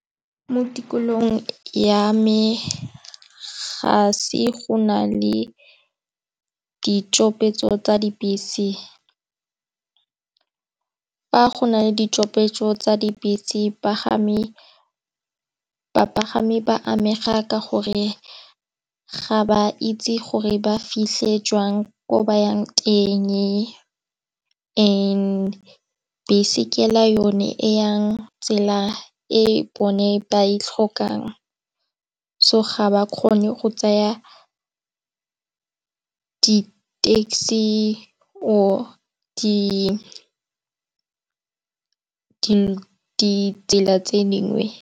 Mo tikologong ya me ga se go na le ditšhopetso tsa dibese fa go na le ditšhopetso tsa dibese bapagami ba amega ka gore ga ba itse gore ba fitlhe jwang ko ba yang teng. And bese ke la yone e yang tsela e bone ba e tlhokang so ga ba kgone go tsaya di-taxi or ditsela tse dingwe.